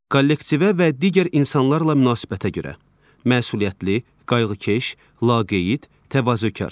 Kollektivə və digər insanlarla münasibətə görə: Məsuliyyətli, qayğıkeş, laqeyd, təvazökar.